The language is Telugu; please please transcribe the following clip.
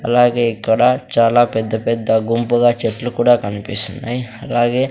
అలాగే ఇక్కడ చాలా పెద్ద పెద్ద గుంపుగా చెట్లు కూడా కన్పిస్తున్నాయ్ అలాగే--